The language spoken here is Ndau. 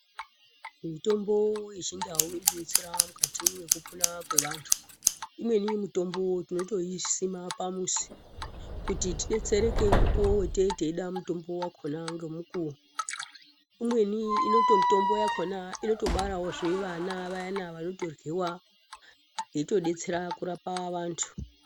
Mitombo yechindau inodetsere mukati mekupona kweantu, imweni mitombo tinotoisima pamuzi kuti tidetsereke mukuwo watinenge teida mutombo wakona ngemukuwo. Umweni mitombo yakona inotobarawo zvivana vayana vanotoryiwa yeitodetsera kurapa vantu.